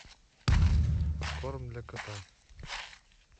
корм для кота